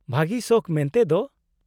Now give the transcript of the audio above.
-ᱵᱷᱟᱹᱜᱤ ᱥᱚᱠᱷ ᱢᱮᱱᱛᱮ ᱫᱚ ?